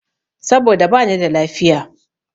Saboda bani da lafiya.